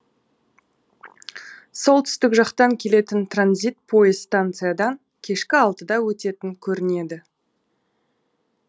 солтүстік жақтан келетін транзит пойыз станциядан кешкі алтыда өтетін көрінеді